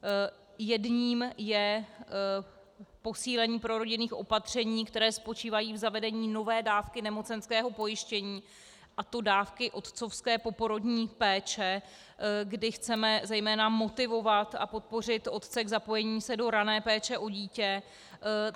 Jedním je posílení prorodinných opatření, která spočívají v zavedení nové dávky nemocenského pojištění, a to dávky otcovské poporodní péče, kdy chceme zejména motivovat a podpořit otce k zapojení se do rané péče o dítě.